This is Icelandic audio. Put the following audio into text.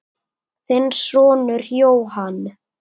Þinn sonur, Jóhann.